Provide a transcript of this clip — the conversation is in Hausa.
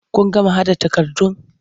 Kun gama haɗa takardun?